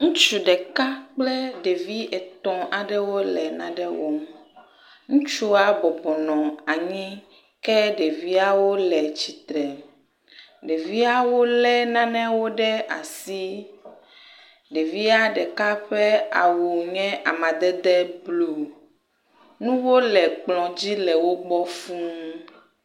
Ŋutsu ɖeka kple ɖevi etɔ̃ aɖewo le nane wɔm. Ŋutsua bɔbɔbnɔ anyi ke ɖeviawo le tsitre. Ɖeviawo le nanewo ɖe asi. Ɖevia ɖeka ƒe awu nye amadede blu. Nuwo le wo gbɔ le ekplɔ dzi fuu.